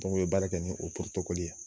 u ye baara kɛ ni o porotekɔli ye.